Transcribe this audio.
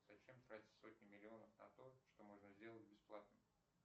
зачем тратить сотни миллионов на то что можно сделать бесплатно